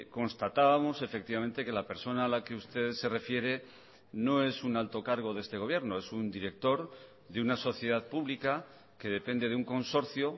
constatábamos efectivamente que la persona a la que usted se refiere no es un alto cargo de este gobierno es un director de una sociedad pública que depende de un consorcio